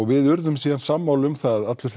við urðum síðan sammála um það allir